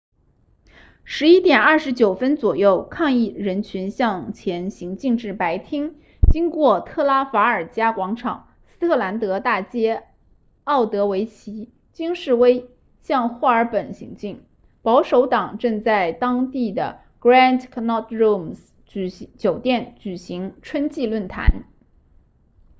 11点29分左右抗议人群向前行进至白厅经过特拉法尔加广场斯特兰德大街奥德维奇京士威向霍尔本行进保守党正在当地的 grand connaught rooms 酒店举行春季论坛